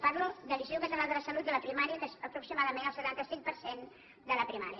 parlo de l’institut català de la salut de la primària que és aproximadament el setanta cinc per cent de la primària